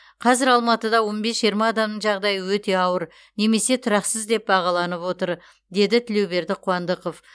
қазір алматыда он бес жиырма адамның жағдай өте ауыр немесе тұрақсыз деп бағаланып отыр деді тілеуберді қуандықов